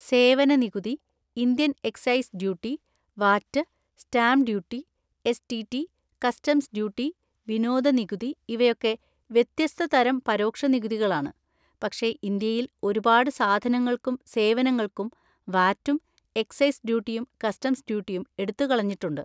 സേവന നികുതി, Indian excise duty, VAT, stamp duty, S. T. T, customs duty, വിനോദ നികുതി, ഇവയൊക്കെ വ്യത്യസ്തതരം പരോക്ഷ നികുതികളാണ്; പക്ഷെ ഇന്ത്യയിൽ ഒരുപാട് സാധനങ്ങൾക്കും സേവനങ്ങൾക്കും വാറ്റും എക്സൈസ് ഡ്യൂട്ടിയും കസ്റ്റംസ് ഡ്യൂട്ടിയും എടുത്തുകളഞ്ഞിട്ടുണ്ട്.